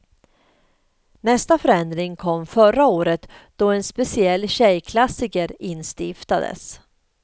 Nästa förändring kom förra året då en speciell tjejklassiker instiftades.